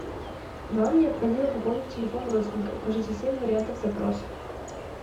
вам необходимо пополнить телефон родственника укажите семь вариантов запросов